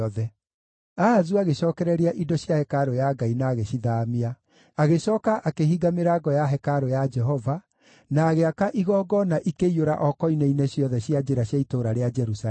Ahazu agĩcookereria indo cia hekarũ ya Ngai na agĩcithaamia. Agĩcooka akĩhinga mĩrango ya hekarũ ya Jehova, na agĩaka igongona ikĩiyũra o koine-inĩ ciothe cia njĩra cia itũũra rĩa Jerusalemu.